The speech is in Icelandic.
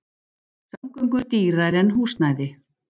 Samgöngur dýrari en húsnæði